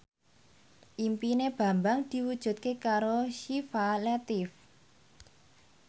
impine Bambang diwujudke karo Syifa Latief